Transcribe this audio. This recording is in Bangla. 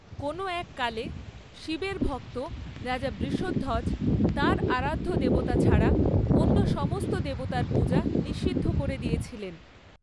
কোনো এক কালে শিবের ভক্ত রাজা বৃষধ্বজ তাঁর আরাধ্য দেবতা ছাড়া অন্য সমস্ত দেবতার পূজা নিষিদ্ধ করে দিয়েছিলেন।